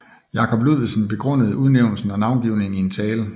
Jacob Ludvigsen begrundede udnævnelsen og navngivningen i en tale